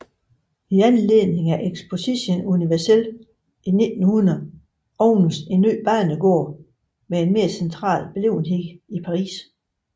I anledning af Exposition Universelle i 1900 åbnedes en ny banegård med en mere central beliggenhed i Paris